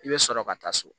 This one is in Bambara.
I bɛ sɔrɔ ka taa so